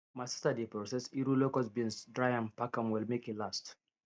my sister dey process iru locust beans dry am pack am well make e last